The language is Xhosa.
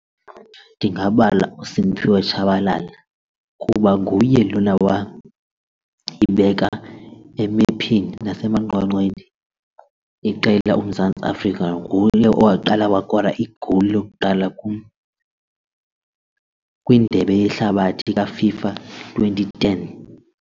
Ndingabala uSimphiwe Tshabalala kuba nguye lona wayibeka emephini iqela uMzantsi Afrika nguye owaqala wakora igowuli lokuqala kwindebe yehlabathi kaFIFA twenty ten.